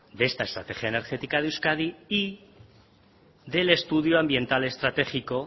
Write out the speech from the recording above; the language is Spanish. de esta estrategia energética de euskadi y del estudio ambiental estratégico